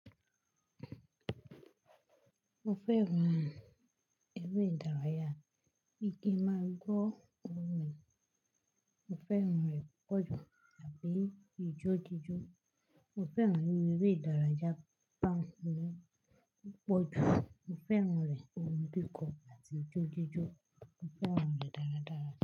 Mo fẹ́ran eré ìdárayá. Ki n máa gbọ́ orìn. Mo fẹ́ran rẹ̀ púpọ̀ jù tàbí ijó jíjó. Mo fẹ́ran eré ìdárayá púpọ̀ jù. Mo fẹ́ran rẹ̀ ohun kíkọ àti ijó jíjó. Mo fẹ́ran rẹ̀ dáradára.